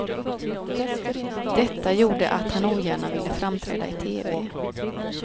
Detta gjorde att han ogärna ville framträda i tv.